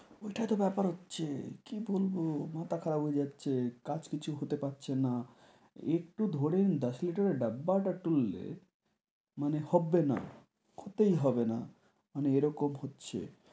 ওইটা তো ব্যাপার হচ্ছে কি বলব মাথা খারাপ হয়ে যাচ্ছে, কাজ কিছু হতে পারছে না। একটু ধরেন দশ লিটারের ডাব্বাটা তুললে মানে হবে না, হতেই হবে না, মানে এরকম হচ্ছে।